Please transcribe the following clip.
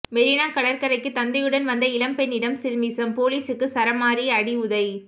மெரினா கடற்கரைக்கு தந்தையுடன் வந்த இளம் பெண்ணிடம் சில்மிஷம் போலீசுக்கு சரமாரி அடிஉதை